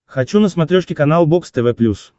хочу на смотрешке канал бокс тв плюс